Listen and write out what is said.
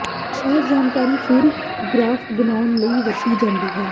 ਇਹ ਜਾਣਕਾਰੀ ਫਿਰ ਗ੍ਰਾਫ ਬਣਾਉਣ ਲਈ ਵਰਤੀ ਜਾਂਦੀ ਹੈ